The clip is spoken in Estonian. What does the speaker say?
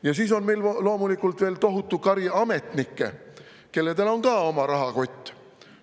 Ja siis on meil loomulikult veel tohutu kari ametnikke, kellel on ka oma rahakott.